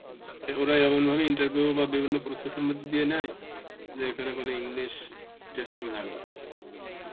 ওরাই এমন ভাবে interview বা বিভিন্ন process এর মধ্যে দিয়ে নেয় যে এখানে কোনো english testing লাগে.